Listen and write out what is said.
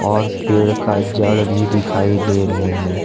और पेड़ का जड़ भी दिखाई दे रहे हैं।